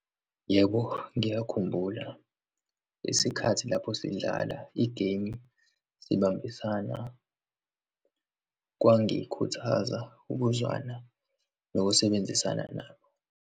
Yebo, ngiyakhumbula isikhathi lapho sidlala igemu sibambisana. Kwangikhuthaza ukuzwana nokusebenzisana nabo.